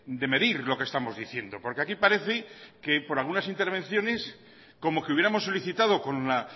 de medir lo que estamos diciendo porque aquí parece que por algunas intervenciones como que hubiéramos solicitado con la